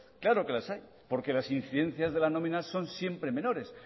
claro que las hay porque las incidencias de la nómina son siempre menores